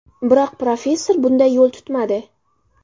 Biroq professor bunday yo‘l tutmadi.